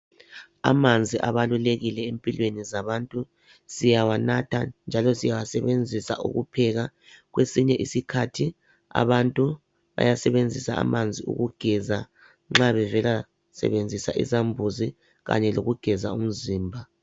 Amanzi abalulekile empilweni zabantu ziyawanatha njalo siyawasebenzisa ukupheka kwesinye isikhathi abantu bayasebenzisa amanzi ukugeza nxa bevela sebenzisa isambuzi kanye lokugeza umzimba